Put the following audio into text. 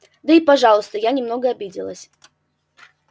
да и пожалуйста я немного обиделась